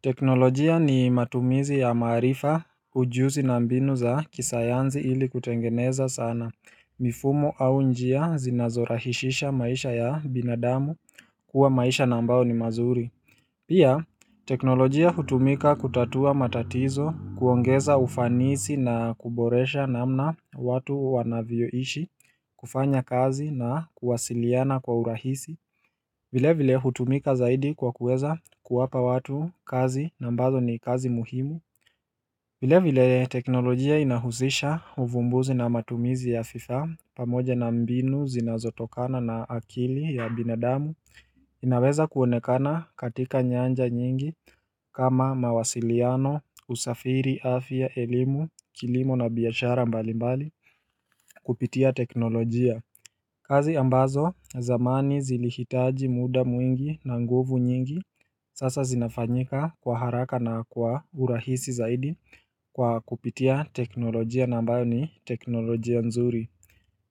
Teknolojia ni matumizi ya maarifa ujuzi na mbinu za kisayanzi ili kutengeneza sana mifumo au njia zinazorahishisha maisha ya binadamu kuwa maisha na ambao ni mazuri Pia teknolojia hutumika kutatua matatizo kuongeza ufanisi na kuboresha namna watu wanavyoishi kufanya kazi na kuwasiliana kwa urahisi vile vile hutumika zaidi kwa kuweza kuwapa watu kazi na ambazo ni kazi muhimu vile vile teknolojia inahusisha uvumbuzi na matumizi ya vifaa pamoja na mbinu zinazotokana na akili ya binadamu inaweza kuonekana katika nyanja nyingi kama mawasiliano, usafiri, afya, elimu, kilimo na biashara mbali mbali kupitia teknolojia kazi ambazo zamani zili hitaji muda mwingi na nguvu nyingi sasa zinafanyika kwa haraka na kwa urahisi zaidi kwa kupitia teknolojia na ambayo ni teknolojia nzuri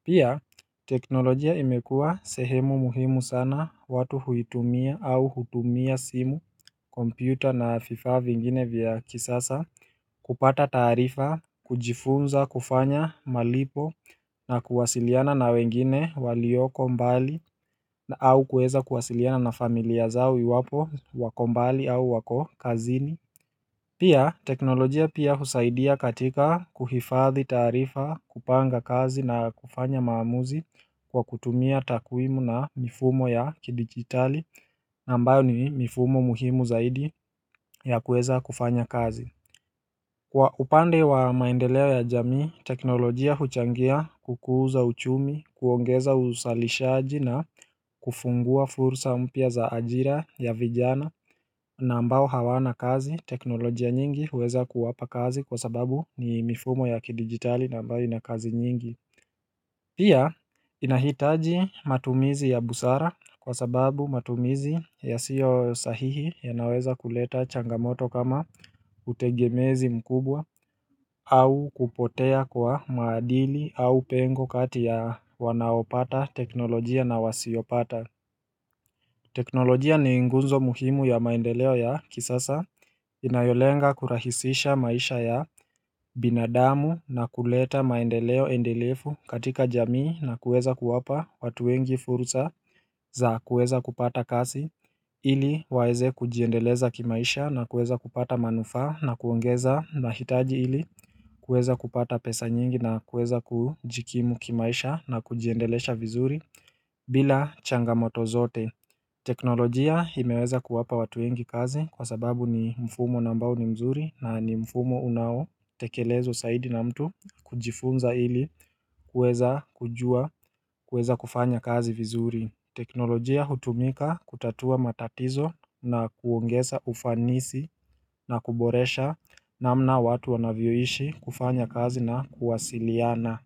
Pia teknolojia imekuwa sehemu muhimu sana watu huitumia au hutumia simu, kompyuta na vifaa vingine vya kisasa kupata taarifa, kujifunza, kufanya malipo na kuwasiliana na wengine walioko mbali na au kueza kuwasiliana na familia zao iwapo wako mbali au wako kazini Pia teknolojia pia husaidia katika kuhifadhi taarifa, kupanga kazi na kufanya maamuzi kwa kutumia takwimu na mifumo ya kidigitali ambayo ni mifumo muhimu zaidi ya kueza kufanya kazi Kwa upande wa maendeleo ya jamii, teknolojia huchangia kukuza uchumi, kuongeza usalishaji na kufungua fursa mpya za ajira ya vijana na ambao hawana kazi, teknolojia nyingi huweza kuwapa kazi kwa sababu ni mifumo ya kidigitali na ambayo inakazi nyingi Pia inahitaji matumizi ya busara kwa sababu matumizi ya siyo sahihi ya naweza kuleta changamoto kama utegemezi mkubwa au kupotea kwa maadili au pengo kati ya wanaopata teknolojia na wasiopata teknolojia ni ngunzo muhimu ya maendeleo ya kisasa inayolenga kurahisisha maisha ya binadamu na kuleta maendeleo endelefu katika jamii na kuweza kuwapa watu wengi fursa za kueza kupata kasi ili waeze kujiendeleza kimaisha na kueza kupata manufaa na kuongeza mahitaji ili kuweza kupata pesa nyingi na kueza kujikimu kimaisha na kujiendelesha vizuri bila changamoto zote. Teknolojia imeweza kuwapa watu wengi kazi kwa sababu ni mfumo na ambao ni mzuri na ni mfumo unao tekelezwa saidi na mtu kujifunza ili kueza kujua kueza kufanya kazi vizuri. Teknolojia hutumika kutatua matatizo na kuongesa ufanisi na kuboresha na mna watu wanavyoishi kufanya kazi na kuwasiliana.